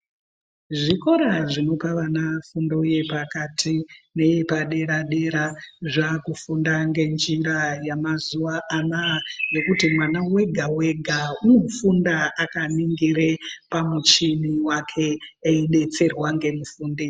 Zvikora zvinopa vana fundo yepakati neyepadera dera zvava kufunda nenjira yamazuva ano aya yokuti mwana wega wega unofunda akaningire pamuchini wake eidetserwa ngemufundisi.